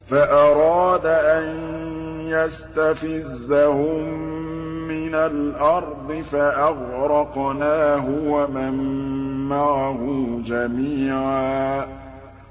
فَأَرَادَ أَن يَسْتَفِزَّهُم مِّنَ الْأَرْضِ فَأَغْرَقْنَاهُ وَمَن مَّعَهُ جَمِيعًا